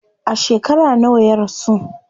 A shekara nawa ya rasu?